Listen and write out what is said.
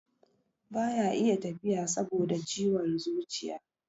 baya iya tafiya saboda ciwon zuciya